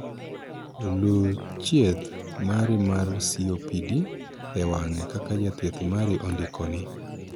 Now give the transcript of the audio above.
Luu chieth mari mar 'COPD' e wang'e kaka jathieth mari ondikoni